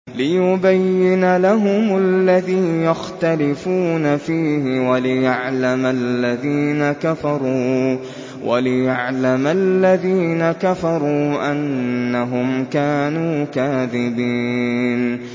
لِيُبَيِّنَ لَهُمُ الَّذِي يَخْتَلِفُونَ فِيهِ وَلِيَعْلَمَ الَّذِينَ كَفَرُوا أَنَّهُمْ كَانُوا كَاذِبِينَ